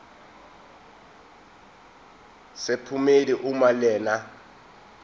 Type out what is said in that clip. sephomedi uma lena